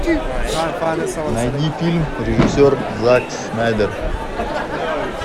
найди фильм режиссер зак снайдер